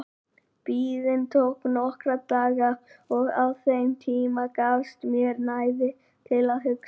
Biðin tók nokkra daga og á þeim tíma gafst mér næði til að hugsa.